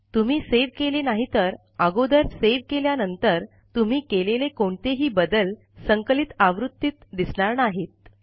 तुम्ही सेव्ह केले नाहीतर अगोदर सेव्ह केल्यानंतर तुम्ही केलेले कोणतेही बदल संकलित आवृत्तीत दिसणार नाहीत